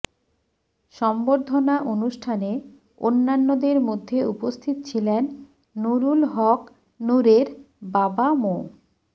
সংবর্ধনা অনুষ্ঠানে অন্যান্যদের মধ্যে উপস্থিত ছিলেন নুরুল হক নুরের বাবা মো